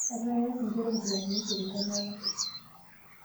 Etaa keas nkera oonkilasini isiet entemata.